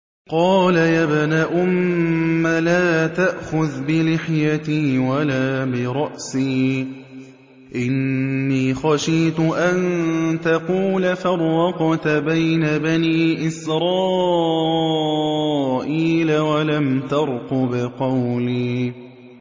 قَالَ يَا ابْنَ أُمَّ لَا تَأْخُذْ بِلِحْيَتِي وَلَا بِرَأْسِي ۖ إِنِّي خَشِيتُ أَن تَقُولَ فَرَّقْتَ بَيْنَ بَنِي إِسْرَائِيلَ وَلَمْ تَرْقُبْ قَوْلِي